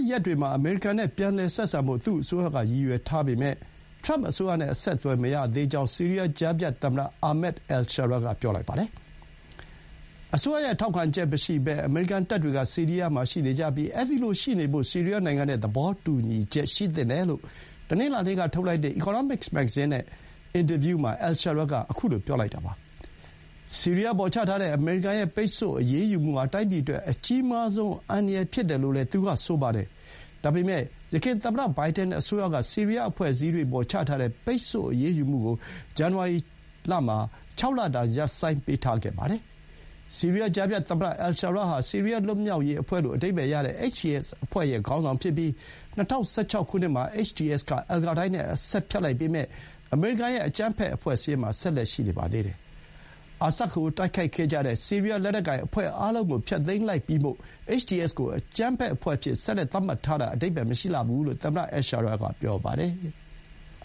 ရက်တွေမှာ အမေရိကန်နဲ့ ပြန်လည်ဆက်ဆံဖို့ သူ့အစိုးရက ရည်ရွယ်ထားပေမဲ့ ထရမ့် အစိုးရနဲ့ အဆက်အသွယ် မရသေးကြောင်း ဆီးရီးယား ကြားဖြတ်သမ္မတ Ahmed al-Sharaa က ပြောပါတယ်။ အစိုးရရဲ့ ထောက်ခံချက်မရှိဘဲ အမေရိကန်တပ်တွေက ဆီးရီးယားမှာ ရှိနေကြပြီး အဲဒီလိုရှိနေဖို့ ဆီးရီးယားနိုင်ငံနဲ့ သဘောတူညီချက် ရှိသင့်တယ်လို့ တနင်္လာနေ့က ထုတ်လိုက်တဲ့ အီကောနောမစ် မဂ္ဂဇင်းနဲ့ အင်တာဗျူးမှာ al-Sharaa က ပြောပါတယ်။ ဆီးရီးယားအပေါ် ချထားတဲ့ အမေရိကန်ရဲ့ ပိတ်ဆို့အရေးမှုဟာ တိုင်းပြည်အတွက် အကြီးမားဆုံး အန္တရာယ် ဖြစ်တယ်လို့လည်း သူကဆိုပါတယ်။ ဒါပေမဲ့ ယခင် သမ္မတဘိုင်ဒန်အစိုးရက ဆီးရီးယား အဖွဲ့အစည်းတွေပေါ် ချထားတဲ့ ပိတ်ဆို့ အရေးယူမှုကို ဇန်နဝါရီလမှာ ၆ လတာ ရပ်ဆိုင်းပေးတားပါတယ်။ ဆီးရီးယား ကြားဖြတ်သမ္မတ al-Sharaa ဟာ ဆီးရီးယား လွတ်မြောက်ရေးအဖွဲ့လို့ အဓိပ္ပါယ်ရတဲ့ HTS အဖွဲ့ရဲ့ ခေါင်းဆောင်ဖြစ်ပြီး ၂၀၁၆ ခုနှစ်မှာ HTS က အယ်ကိုင်းဒါးနဲ့ အဆက်ဖြတ်လိုက်ပေမဲ့ အမေရိကန်ရဲ့ အကြမ်းဖက်အဖွဲ့စာရင်းမှာ ဆက်လက် ရှိနေပါသေးတယ်။ အာဆတ်ကို တိုက်ခဲ့ကြတဲ့ ဆီးရီးယား လက်နက်ကိုင်အဖွဲ့အားလုံးကို ဖျက်သိမ်းလိုက်ပြီမို့ HTS ကို အကြမ်းဖက်အဖွဲ့အဖြစ် ဆက်သတ်မှတ်ထားတာ အဓိပ္ပါယ်မရှိလှဘူးလို့ သမ္မတ al-Sharaa က ပြောပါတယ်။